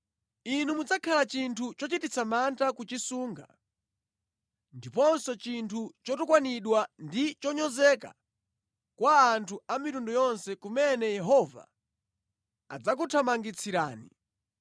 Inu mudzakhala chinthu chochititsa mantha kuchisunga ndiponso chinthu chotukwanidwa ndi chonyozeka kwa anthu a mitundu yonse kumene Yehova adzakuthamangitsirani.